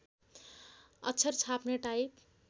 अक्षर छाप्ने टाइप